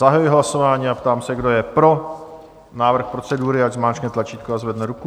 Zahajuji hlasování a ptám se, kdo je pro návrh procedury, ať zmáčkne tlačítko a zvedne ruku.